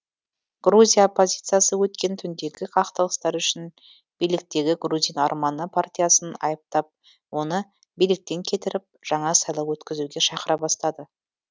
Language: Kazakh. грузия оппозициясы өткен түндегі қақтығыстар үшін биліктегі грузин арманы партиясын айыптап оны биліктен кетіріп жаңа сайлау өткізуге шақыра бастады